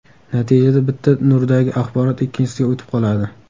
Natijada bitta nurdagi axborot ikkinchisiga o‘tib qoladi.